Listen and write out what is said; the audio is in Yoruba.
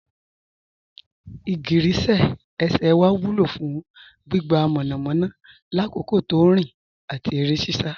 Igigirísẹ̀ ẹ̀ṣẹ́ wa wúlọ̀ fún gbígbà mọ́namọ́na làkòkò tó nrin àti ere sisa